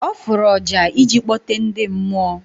Ọ fụrụ ọjà ịji kpọte ndị mmụọ.